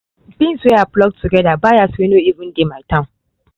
beans wey i pluck together buyers wey no even dey my town